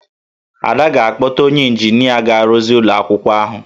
Ada ga-akpọta onye ịnjinịa ga-arụzi ụlọ akwụkwọ ahụ